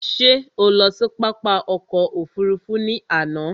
Ṣé o lọ sí pápá ọkò òfurufú ni àná?